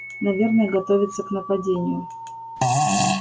наверное готовится к нападению